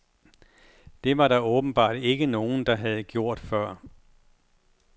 Det var der åbenbart ikke nogen, der havde gjort før.